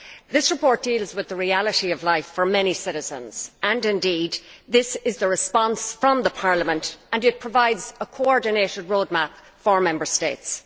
This report deals with the reality of life for many citizens, and indeed this is the response from Parliament and it provides a coordinated roadmap for Member States.